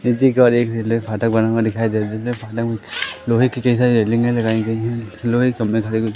फाटक बना हुआ दिखाई दे लोहे की कई सारी रेलिंगें लगाई गई हैं लोहे सारे--